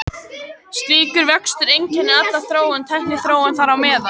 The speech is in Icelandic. Slíkur vöxtur einkennir alla þróun, tækniþróun þar á meðal.